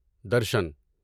درشن